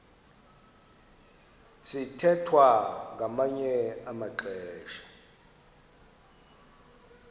sithwethwa ngamanye amaxesha